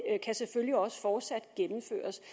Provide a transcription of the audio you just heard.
kan selvfølgelig også fortsat gennemføres det